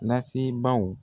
lasebaaw.